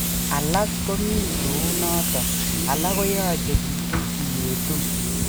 Alak komii kouu noton alak koyachekitu iyeetu